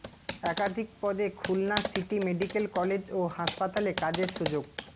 একাধিক পদে Khulna city medical college ও হাসপাতালে কাজের সুযোগ